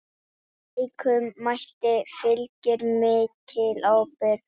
Slíkum mætti fylgir mikil ábyrgð.